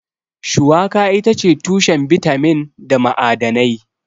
Shuwaka itace tushen bitamin da ma'adanai.